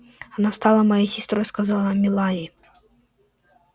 она стала моей сестрой сказала мелаи